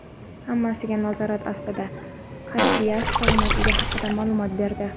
"Hammasi nazorat ostida" – Kasilyas salomatligi haqida maʼlumot berdi.